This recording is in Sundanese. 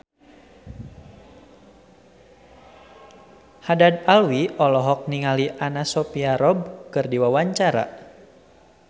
Haddad Alwi olohok ningali Anna Sophia Robb keur diwawancara